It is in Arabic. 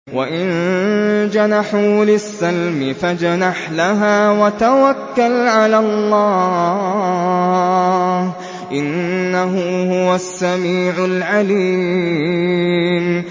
۞ وَإِن جَنَحُوا لِلسَّلْمِ فَاجْنَحْ لَهَا وَتَوَكَّلْ عَلَى اللَّهِ ۚ إِنَّهُ هُوَ السَّمِيعُ الْعَلِيمُ